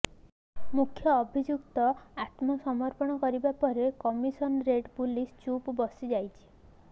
ମୁଖ୍ୟ ଅଭିଯୁକ୍ତ ଆତ୍ମସମର୍ପଣ କରିବା ପରେ କମିସନରେଟ୍ ପୁଲିସ ଚୁପ୍ ବସିଯାଇଛି